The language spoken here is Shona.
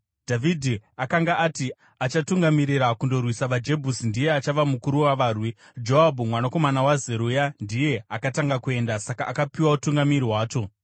Dhavhidhi akanga ati, “Achatungamirira kundorwisa vaJebhusi ndiye achava mukuru wavarwi.” Joabhu mwanakomana waZeruya ndiye akatanga kuenda, saka akapiwa utungamiri hwacho.